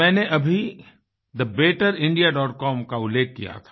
मैंने अभी thebetterindiacom का उल्लेख किया था